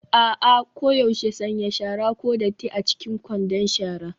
A'a, koyaushe sanya shara (ko datti) a cikin kwandon shara.